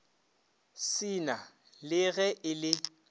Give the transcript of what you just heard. sena le ge e le